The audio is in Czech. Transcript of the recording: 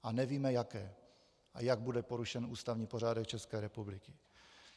A nevíme jaké, a jak bude porušen ústavní pořádek České republiky.